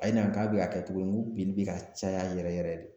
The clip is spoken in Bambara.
A ye n'a k'a bɛ ka kɛ cogo min n ko binni ka caya yɛrɛ yɛrɛ de